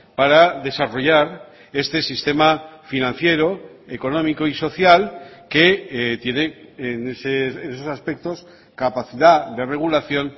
para desarrollar este sistema financiero económico y social que tiene en esos aspectos capacidad de regulación